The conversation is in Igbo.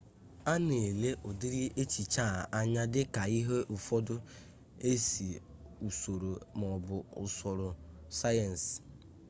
a na-ele ụdịrị echiche a anya dịka ihe ụfọdụ ezi usoro maọbụ usoro sayensị